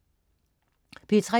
P3: